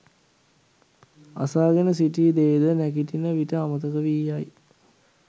අසාගෙන සිටි දේ ද නැගිටින විට අමතක වී යයි.